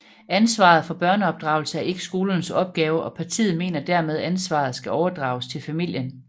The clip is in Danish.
Ansvaret for børneopdragelse er ikke skolernes opgave og partiet mener dermed ansvaret skal overdrages til familien